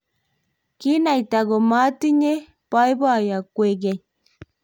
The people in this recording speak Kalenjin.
kinaita komatinyei boiboiyo kwekeny